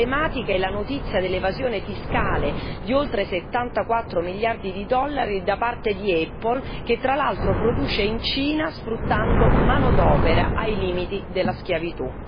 Emblematica è la notizia dell'evasione fiscale di oltre 74 miliardi di dollari da parte di Apple che, tra l'altro, produce in Cina sfruttando manodopera ai limiti della schiavitù.